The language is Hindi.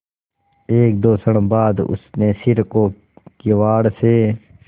एकदो क्षण बाद उसने सिर को किवाड़ से